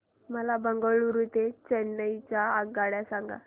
मला बंगळुरू ते चेन्नई च्या आगगाड्या सांगा